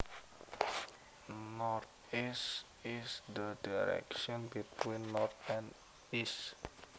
Northeasth is the direction between north and east